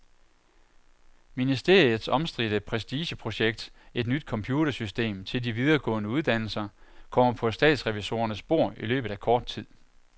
Ministeriets omstridte prestigeprojekt, et nyt computersystem til de videregående uddannelser, kommer på statsrevisorernes bord i løbet af kort tid.